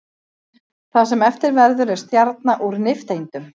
Það sem eftir verður er stjarna úr nifteindum.